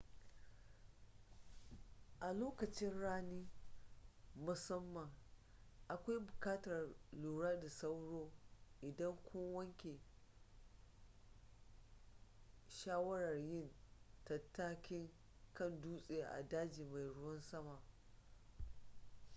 a lokacin rani musamman akwai buƙatar lura da sauro idan kun yanke shawarar yin tattakin kan dutse a dajin mai ruwan sama